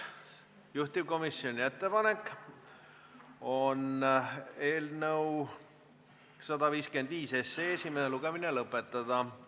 Juhtivkomisjoni ettepanek on eelnõu 155 esimene lugemine lõpetada.